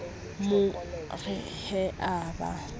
mo re he a ba